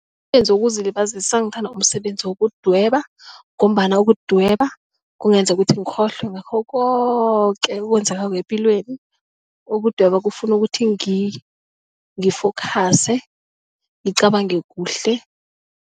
Umsebenzi wokuzilibazisa ngithanda umsebenzi wokudweba ngombana ukudweba kungenza ukuthi ngikhohlwe ngakho koke okwenzekako epilweni ukudweba kufuna ukuthi ngi-focus ngicabange kuhle.